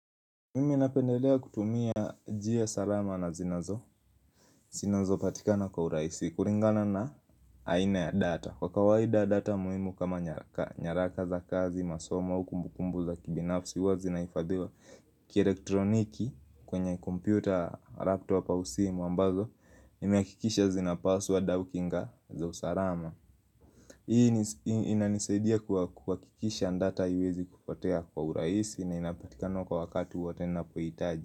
Mimi napendelea kutumia njia salama na zinazo zinazo patikana kwa urahisi kulingana na aina ya data Kwa kawaida data muhimu kama nyaraka nyaraka za kazi, masomo, au kumbukumbu za kibinafsi huwa zinahifadhiwa kielektroniki kwenye kompyuta, laptop au simu ambazo Nimehakikisha zinapaswad au kinga za usalama Hii inanisaidia kuhakikisha data haiwezi kupotea kwa urahisi na inapatikana kwa wakati wote ninapohitaji.